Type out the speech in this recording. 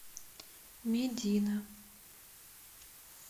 медина